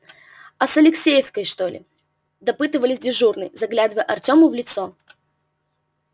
а с алексеевской что ли допытывались дежурные заглядывая артему в лицо